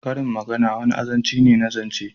Karin magana wani azanci ne na zance